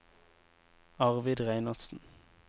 Arvid Reinertsen